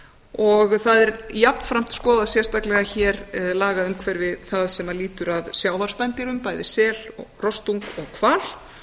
og það er jafnframt skoðað sérstaklega hér lagaumhverfi það sem lýtur að sjávarspendýrum bæði sel rostung og hval